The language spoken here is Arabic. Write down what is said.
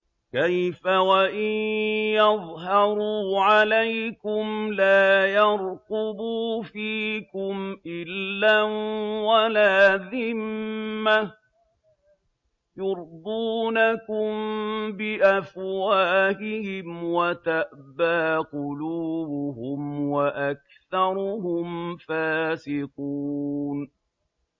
كَيْفَ وَإِن يَظْهَرُوا عَلَيْكُمْ لَا يَرْقُبُوا فِيكُمْ إِلًّا وَلَا ذِمَّةً ۚ يُرْضُونَكُم بِأَفْوَاهِهِمْ وَتَأْبَىٰ قُلُوبُهُمْ وَأَكْثَرُهُمْ فَاسِقُونَ